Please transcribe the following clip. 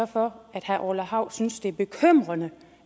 for at herre orla hav synes det er bekymrende